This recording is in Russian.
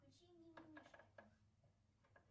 включи мимимишки